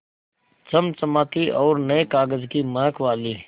चमचमाती और नये कागज़ की महक वाली